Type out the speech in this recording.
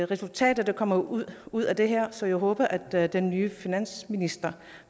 resultater der kommer ud ud af det her så jeg håber at den nye finansminister